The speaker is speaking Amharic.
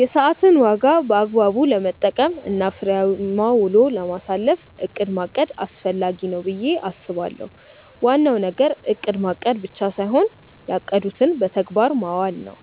የሰዓትን ዋጋ በአግባቡ ለመጠቀም እና ፍሬያማ ውሎ ለማሳለፍ እቅድ ማቀድ አስፈላጊ ነው ብዬ አስባለሁ። ዋናው ነገር እቅድ ማቀድ ብቻ ሳይሆን ያቀዱትን በተግባር ማዋል ነው።